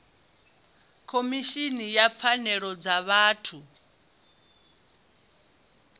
khomishini ya pfanelo dza vhathu